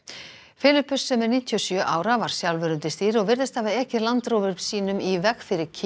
Filippus sem er níutíu og sjö ára var sjálfur undir stýri og virðist hafa ekið Land sínum í veg fyrir